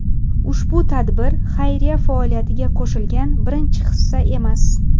Ushbu tadbir xayriya faoliyatiga qo‘shilgan birinchi hissa emas.